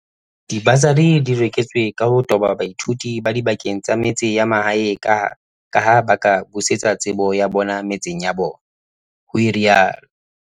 "Dibasari di reretswe ka ho toba baithuti ba dibakeng tsa metse ya mahae kaha ba ka busetsa tsebo ya bona metseng ya bo bona," ho rialo.